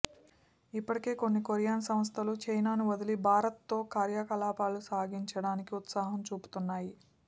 ఇప్పటికే కొన్ని కొరియన్ సంస్థలు చైనాను వదిలి భారత్లో కార్యకలాపాలు సాగించడానికి ఉత్సాహం చూపుతున్నాయి